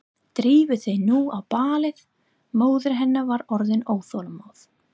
Drífðu þig nú á ballið, móðir hennar var orðin óþolinmóð.